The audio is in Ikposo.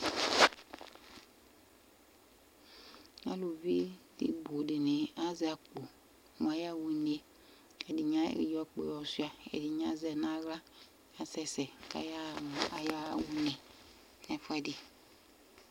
Alʋvi bʋ dini azɛ akpo mʋ ayaɣa une ɛdini ayɔ akpoe yɔ suia ɛdini azɛ nʋ aɣla kʋ asɛsɛ kʋ ayaɣa une nʋ ɛfʋɛdi